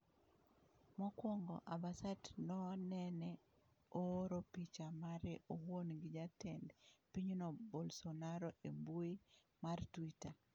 Mokwongo, ambasate no nene ooro picha mare owuon gi Jatend pinyno Bolsonaro e mbui mar Twitter.